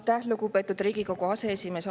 Aitäh, lugupeetud Riigikogu aseesimees!